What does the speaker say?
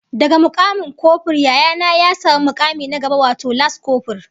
Daga mukamin kofur Yaya na ya samu mukami na gaba wato las kofur